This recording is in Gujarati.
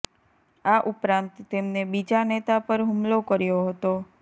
આ ઉપરાંત તેમને બીજા નેતા પર હુમલો કર્યો હતો